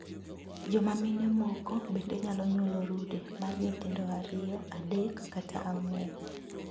Joma mine moko bende nyalo nyuolo rude mar nyithindo ariyo, adek, kata ang'wen.